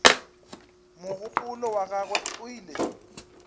mogopolo wa gagwe o ile